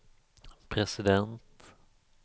president